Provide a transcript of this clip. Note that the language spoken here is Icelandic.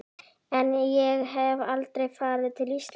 En ég hef aldrei farið til Ísraels.